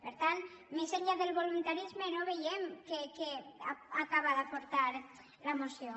per tant més enllà del voluntarisme no veiem què acaba d’aportar la moció